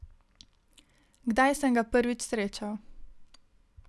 Kdaj sem ga prvič srečal?